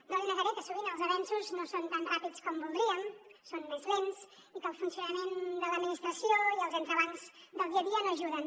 no li negaré que sovint els avenços no són tan ràpids com voldríem són més lents i que el funcionament de l’administració i els entrebancs del dia a dia no ajuden